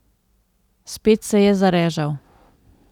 Spet se je zarežal.